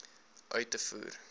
uit te voer